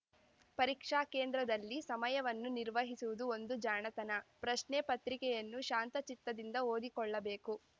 ಪರೀಕ್ಷಾ ಕೇಂದ್ರದಲ್ಲಿ ಸಮಯವನ್ನು ನಿರ್ವಹಿಸುವುದು ಒಂದು ಜಾಣತನ ಪ್ರಶ್ನೆ ಪತ್ರಿಕೆಯನ್ನು ಶಾಂತಚಿತ್ತದಿಂದ ಓದಿಕೊಳ್ಳಬೇಕು